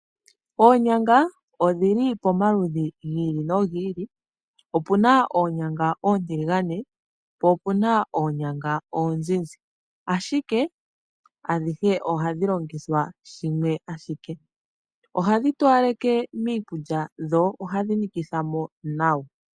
Oonyanga odhili pomaludhi giili no giili, opuna oonyanga oontilingane po opuna oonyanga oonzinzi, ashike adhihe ohadhi longithwa shimwe ashike. Oonyanga ohadhi towalekitha miikulya dho ohadhi nikithamo nawa.